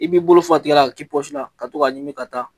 I b'i bolo fa tigɛ la ka k'i la, ka to ka a ɲimi ka taa.